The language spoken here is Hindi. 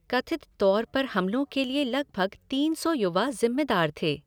कथित तौर पर हमलों के लिए लगभग तीन सौ युवा जिम्मेदार थे।